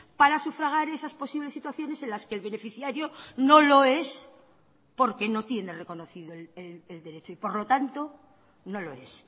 para sufragar esas posibles situaciones en las que el beneficiario no lo es porque no tiene reconocido el derecho y por lo tanto no lo es